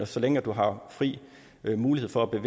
så længe du har fri mulighed for at